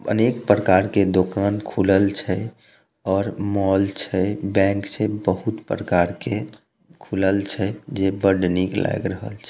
अनेक प्रकार के दुकान खुलल छै और मॉल छै बैंक छै बहुत प्रकार के खुलल छै जे बड़े निक लाग रहल छै।